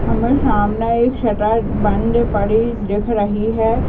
हमे सामने एक शटर बंद पड़ी दिख रही है।